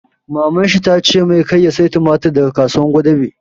Maman shi ta ce mai 'Kar ka saya tumatir daga Kasuwar Gwadabe'!